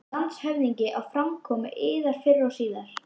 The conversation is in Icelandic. LANDSHÖFÐINGI: Á framkomu yðar fyrr og síðar.